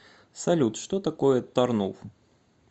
салют что такое тарнув